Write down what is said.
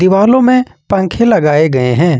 दीवालो में पंखे लगाए गए हैं।